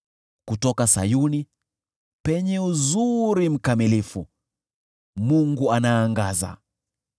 Kutoka Sayuni, penye uzuri mkamilifu, Mungu anaangaza.